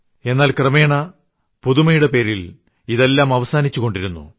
എന്നാൽ ക്രമേണ പുതുമയുടെ പേരിൽ ഇതെല്ലാം അവസാനിച്ചുകൊണ്ടിരുന്നു